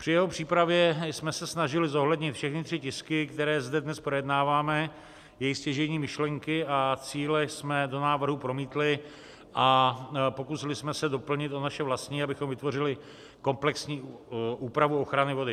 Při jeho přípravě jsme se snažili zohlednit všechny tři tisky, které zde dnes projednáváme, jejich stěžejní myšlenky a cíle jsme do návrhu promítli a pokusili jsme se doplnit o naše vlastní, abychom vytvořili komplexní úpravu ochrany vody.